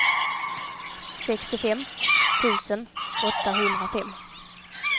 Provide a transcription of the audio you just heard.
sextiofem tusen åttahundrafem